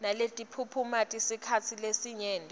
netiphumuti esikhatsini lesinyenti